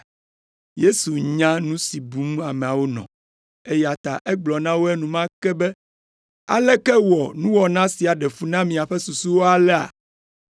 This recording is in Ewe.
Yesu nya nu si bum ameawo nɔ, eya ta egblɔ na wo enumake be, “Aleke wɔ nuwɔna sia ɖe fu na miaƒe susuwo alea?